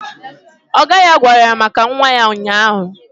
Ọga ya gwara ya maka nwa ya ụnyaahụ